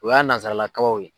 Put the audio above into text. O y'a nazaralakabaw ye.